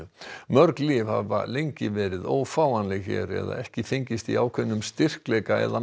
mörg lyf hafa lengi verið ófáanleg hér eða ekki fengist í ákveðnum styrkleika eða